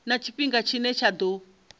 na tshifhinga tshine tsha ḓo